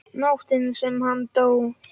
Nóttina sem hann dó?